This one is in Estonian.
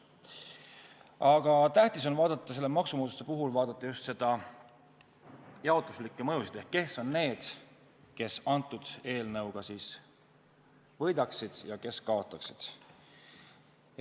Aga tähtis on selle maksumuudatuse puhul vaadata just jaotuslikke mõjusid ehk seda, kes on need, kes eelnõuga võidaksid ja kes kaotaksid.